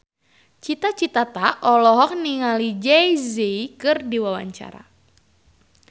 Cita Citata olohok ningali Jay Z keur diwawancara